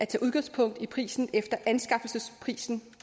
tage udgangspunkt i prisen efter anskaffelsesprisen